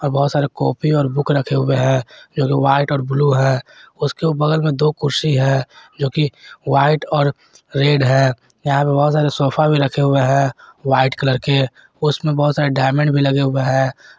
बहोत सारे कॉपी और बुक रखे हुए हैं जो वाइट और ब्लू है उसके बगल में दो कुर्सी है जो कि व्हाइट और रेड है यहां पे बहोत सारे सोफा भी रखे हुए हैं व्हाइट कलर के उसमें बहुत सारे डायमंड भी लगे हुए हैं।